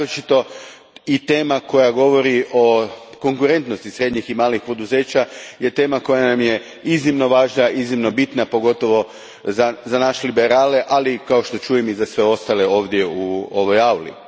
Naročito, i tema koja govori o konkurentnosti srednjih i malih poduzeća je tema koja nam je iznimno važna, iznimno bitna, pogotovo za nas liberali, ali i kao što čujem za sve ostale ovdje u ovoj auli.